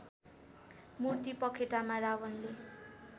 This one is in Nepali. मूर्ति पखेटामा रावणले